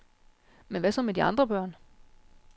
Men hvad så med de andre børn?